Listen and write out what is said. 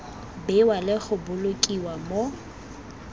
bewa le go bolokiwa mo